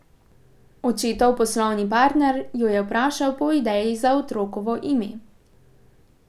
Očetov poslovni partner jo je vprašal po ideji za otrokovo ime.